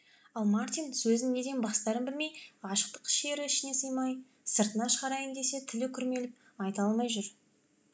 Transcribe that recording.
ал мартин сөзін неден бастарын білмей ғашықтық шері ішіне сыймай сыртына шығарайын десе тілі күрмеліп айта алмай жүр